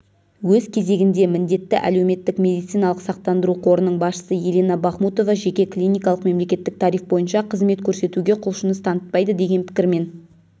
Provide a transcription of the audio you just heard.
өз кезегінде міндетті әлеуметтік медициналық сақтандыру қорының басшысы елена бахмутова жеке клиникалық мемлекеттік тариф бойынша қызмет көрсетуге құлшыныс танытпайды деген пікірмен